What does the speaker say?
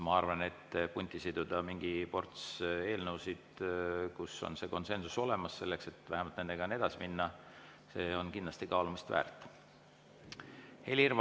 Ma arvan, et punti siduda mingi ports eelnõusid, kus on konsensus olemas, selleks et vähemalt nendega edasi minna, on kindlasti kaalumist väärt.